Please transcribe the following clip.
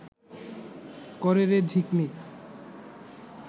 করে রে ঝিকমিক